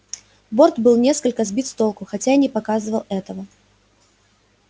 борт был несколько сбит с толку хотя и не показывал этого